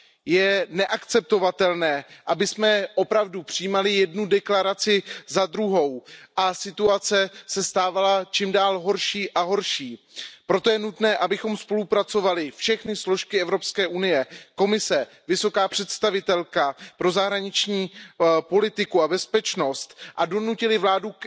Je neakceptovatelné, abychom opravdu přijímali jednu deklaraci za druhou a situace se stávala horší a horší, proto je nutné, abychom spolupracovali všechny složky EU Komise, vysoká představitelka pro zahraniční politiku a bezpečnost a donutili vládu